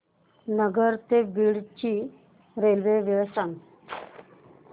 नगर ते बीड ची रेल्वे वेळ सांगा